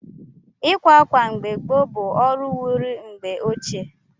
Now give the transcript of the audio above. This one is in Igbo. Ịkwa ákwà mgbe gboo bụ ọrụ wiri mgbe ochie.